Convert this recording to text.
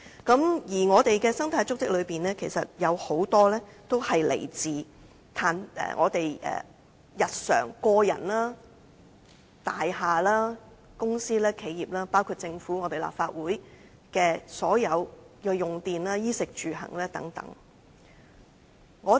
在我們的生態足跡當中，包括了個人日常的衣食住行，大廈、公司企業、政府和立法會的所有用電等。